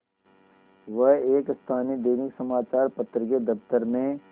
वह एक स्थानीय दैनिक समचार पत्र के दफ्तर में